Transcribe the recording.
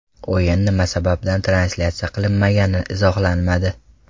O‘yin nima sababdan translyatsiya qilinmagani izohlanmadi.